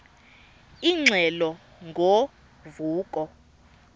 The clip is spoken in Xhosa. ingxelo ngo vuko